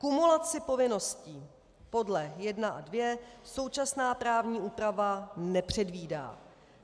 Kumulaci povinností podle 1 a 2 současná právní úprava nepředvídá.